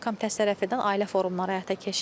Dövlət Komitəsi tərəfindən ailə forumları həyata keçirilir.